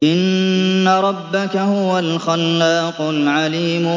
إِنَّ رَبَّكَ هُوَ الْخَلَّاقُ الْعَلِيمُ